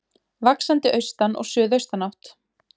Vaxandi austan og suðaustan átt